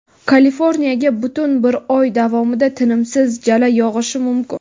Kaliforniyaga butun bir oy davomida tinimsiz jala yog‘ishi mumkin.